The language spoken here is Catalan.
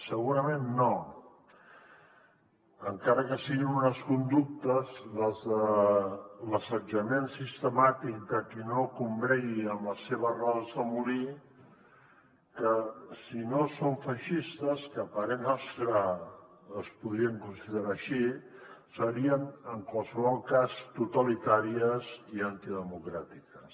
segurament no encara que siguin unes conductes les de l’assetjament sistemàtic de qui no combregui amb les seves rodes de molí que si no són feixistes que a parer nostre es podrien considerar així serien en qualsevol cas totalitàries i antidemocràtiques